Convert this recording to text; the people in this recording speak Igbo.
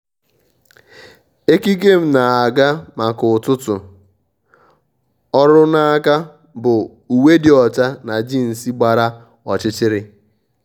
ékíkè m nà-ágá maka ụ́tụ́tụ́ ọ́rụ́ n’áká bụ uwe dị ọ́chá na jeans gbara ọ́chịchị̀rị̀.